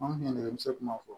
An kun ye nɛgɛso kuma fɔ